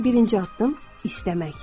Birinci addım istəmək.